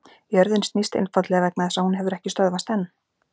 jörðin snýst einfaldlega vegna þess að hún hefur ekki stöðvast enn!